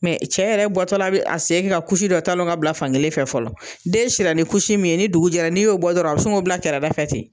Mɛ cɛ yɛrɛ bɔtɔ la bɛ a sen kɛ ka dɔ talon ka bila fan kelen fɛ fɔlɔ. Den sira ni min ye ni dugu jɛra n'i y'o bɔ dɔrɔn a bɛ sin k'o bila kɛrɛ da fɛ ten.